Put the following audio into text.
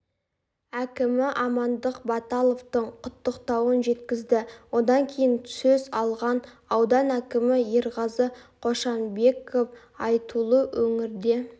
әкімі амандық баталовтың құттықтауын жеткізді одан кейін сөз алған аудан әкімі ерғазы қошанбеков айтулы өңірде